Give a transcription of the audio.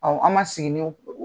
an ma segin n'o